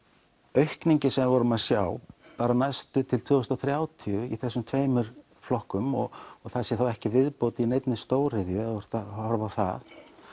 aukningin sem við vorum að sjá til tvö þúsund og þrjátíu í þessum tveimur flokkum og það sé ekki viðbót í neinni stóriðju ef þú ert að horfa á það